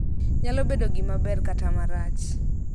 Nyalobedo gima ber kata marach.